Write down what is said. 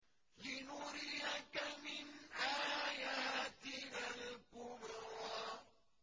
لِنُرِيَكَ مِنْ آيَاتِنَا الْكُبْرَى